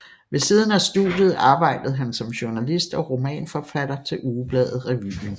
Ved siden af studiet arbejdede han som journalist og romanforfatter til ugebladet Revuen